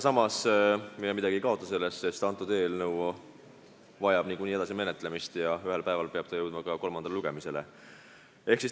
Samas me midagi sellest ei kaota, sest eelnõu vajab niikuinii menetlemist ja ühel päeval peab ta jõudma ka kolmandale lugemisele.